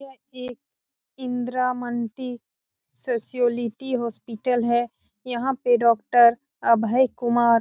ये एक इंदिरामंटी सोशियोलिटी हॉस्पिटल है यहां पर डॉक्टर अभय कुमार --